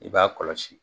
I b'a kɔlɔsi